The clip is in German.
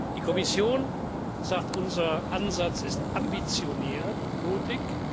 Die Kommission sagt, unser Ansatz ist ambitioniert und mutig.